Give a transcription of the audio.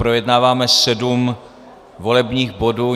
Projednáváme sedm volebních bodů.